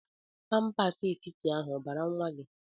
Pampers etiti ahụ obara nwa gi?